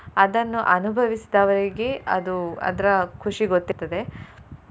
ಅದನ್ನು ಅನುಭವಿಸಿದವರಿಗೆ ಅದು ಅದ್ರ ಖುಷಿ ಗೊತ್ತಿರ್ತದೆ.